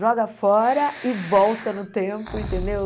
Joga fora e volta no tempo, entendeu?